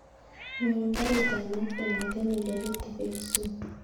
Nyorun karit ap maat kongeten eldoret akoi kisumu